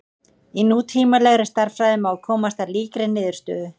Í nútímalegri stærðfræði má komast að líkri niðurstöðu.